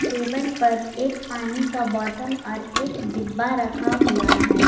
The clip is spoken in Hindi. टेबल पर एक पानी का बॉटल और एक डिब्बा रखा हुआ है।